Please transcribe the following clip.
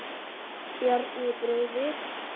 Bjarni bróðir.